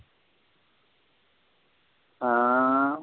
ஆஹ்